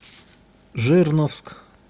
жирновск